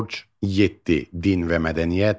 7. Din və mədəniyyət.